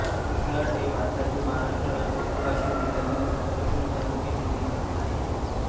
रिथाड हे भारतातील महाराष्ट्र राज्यातील वाशिम जिल्ह्यातील रिसोड तालुक्यातील एक गाव आहे